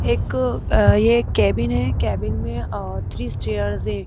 एक अये कैबिन है कैबिन मेंअ थ्री चैर्स है।